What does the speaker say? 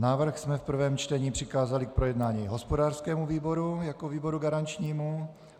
Návrh jsme v prvém čtení přikázali k projednání hospodářskému výboru jako výboru garančnímu.